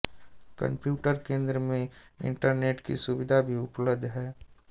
computer केन्द्र में internet की सुविधा भी उपलब्ध है